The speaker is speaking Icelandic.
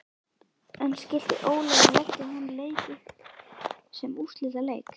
En skyldi Ólafur leggja þann leik upp sem úrslitaleik?